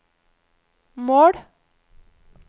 mål